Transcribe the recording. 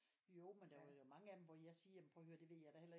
Jo men der er jo mange af dem hvor jeg siger jamen prøv at høre det ved jeg da heller ikke